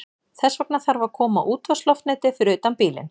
Þess vegna þarf að koma útvarpsloftneti fyrir utan bílinn.